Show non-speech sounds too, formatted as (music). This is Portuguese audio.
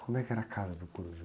Como é que era a casa do? (unintelligible)